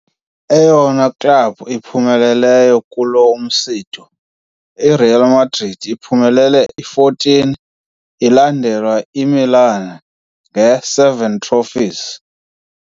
Eyona klabhu iphumeleleyo kulo msitho IRealMadrid ephumelele i-14, ilandelwa IMilan nge-7 Trophies.